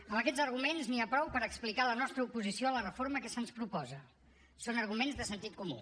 amb aquests arguments n’hi ha prou per explicar la nostra oposició a la reforma que se’ns proposa són arguments de sentit comú